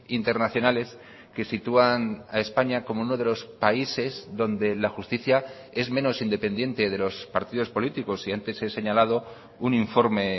internacionales que sitúan a españa como uno de los países donde la justicia es menos independiente de los partidos políticos y antes he señalado un informe